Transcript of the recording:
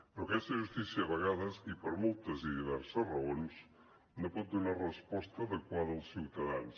però aquesta justícia a vegades i per moltes i diverses raons no pot donar resposta adequada als ciutadans